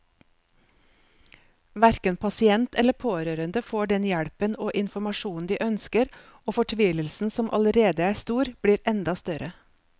Hverken pasient eller pårørende får den hjelpen og informasjonen de ønsker, og fortvilelsen som allerede er stor, blir enda større.